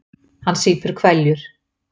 Hann sýpur hveljur.